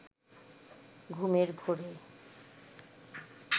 ঘুমের ঘোরে